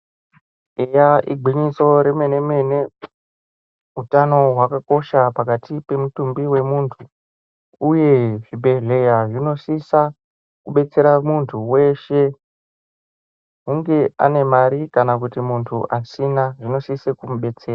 Eya igwinyiso remene mene hutano hwakakosha pakati pemutumbi wemuntu uye zvibhedhlera zvinosisa kudetsera muntu weshe hunge ane mare kana asina zvinosisa kumudetsera.